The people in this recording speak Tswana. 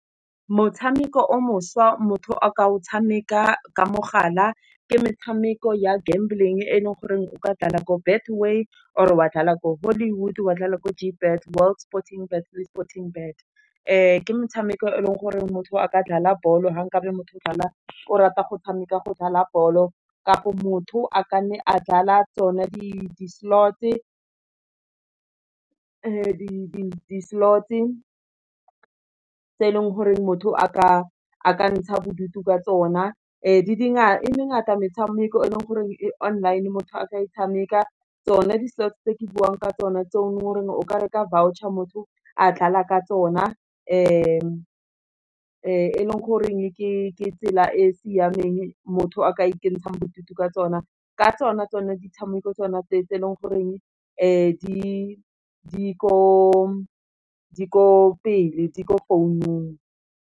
Motshameko o mošwa motho a ka o tshameka ka mogala, ke metshameko ya gamble-ng e leng gore o ka dlala ko betway, or e wa dlala ko hollywood, wa dlala ko g bet world sporting, batho le sporting bet, ke motshameko e leng gore motho a ka dlala bolo ha nkabe motho o rata go tshameka go dlala bolo kapo motho a ka nne a dlala tsona, di-slot-e, tse e leng gore motho a ka ntsha bodutu ka tsona. di ngata metshameko e leng gore e online motho a ka e tshameka, tsone di-slot se tse ke buang ka tsona tse o, gore o ka reka voucher motho a dlala ka tsona, e leng goreng ke tsela e e siameng motho a ka ikentshang bodutu ka tsona, ka tsona tsone di tshameko tsona tse e leng goreng di ko pele, di ko founung.